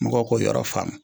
Mɔgɔw k'o yɔrɔ faamu